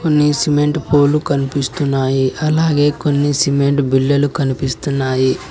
కొన్ని cement pole కనిపిస్తున్నాయి అలాగే కొన్ని సిమెంట్ బిల్లులు కనిపిస్తున్నాయి.